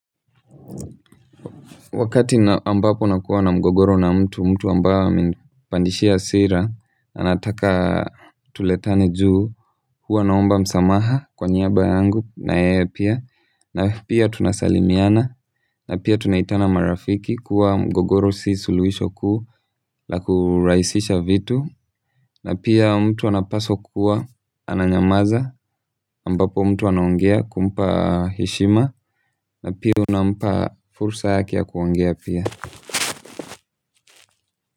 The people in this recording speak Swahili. Wakati ambapo ninakuwa na mgogoro na mtu ambaye amenipandisha hasira. Anataka tuletane juu, huwa naomba msamaha kwa niaba yangu na yeye pia. Na pia tunasalimiana, na pia tunaitana marafiki kuwa mgogoro si suluhisho la kurahisisha vitu. Na pia mtu anapaswa kuwa ananyamaza ambapo mtu anongea kumpa heshima na pia unampa fursa yake ya kuongea pia.